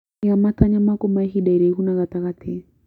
Iga matanya maku ma ihinda iraihu na gatagatĩ.